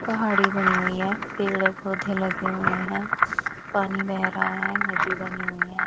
पहाड़ी बनी हुई है पेड़ पौधे लगे हुए हैं पानी बह रहा है नदी बनी हुई है।